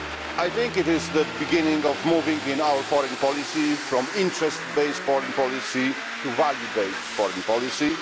way. I think it is the beginning of moving in our foreign policy from interest based foreign policy to value based foreign policy.